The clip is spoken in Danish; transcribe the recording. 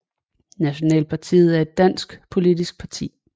Nationalpartiet er et dansk politisk parti